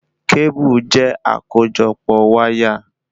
Kébù je akojopo wáyà